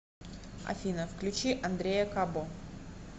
афина включи андрея кабо